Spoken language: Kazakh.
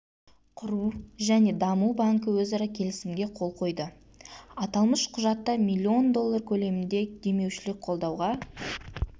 құру және даму банкі өзара келісімге қол қойды аталмыш құжатта миллион доллар көлемінде демеушілік қолдауға